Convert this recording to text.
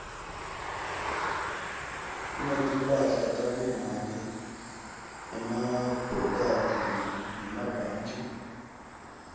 kunetimphahla tabomake emabhokathi nemabhantji